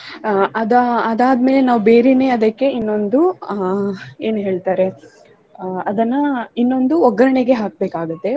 ಅಹ್ ಅದಾ~ ಅದಾದ್ಮೇಲೆ ನಾವು ಬೇರೇನೆ ಅದಕ್ಕೆ ಇನ್ನೊಂದು ಅಹ್ ಏನ್ ಹೇಳ್ತಾರೆ ಅಹ್ ಅದನ್ನ ಇನ್ನೊಂದು ಒಗ್ಗರ್ಣೆಗೆ ಹಾಕ್ಬೇಕಾಗತ್ತೆ.